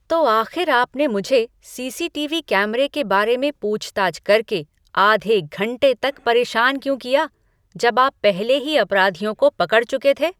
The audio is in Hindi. तो आख़िर आपने मुझे सीसीटीवी कैमरे के बारे में पूछताछ करके आधे घंटे तक परेशान क्यों किया, जब आप पहले ही अपराधियों को पकड़ चुके थे?